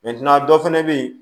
dɔ fɛnɛ be yen